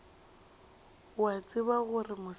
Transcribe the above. o a tseba gore mosela